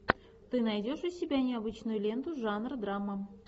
ты найдешь у себя необычную ленту жанр драма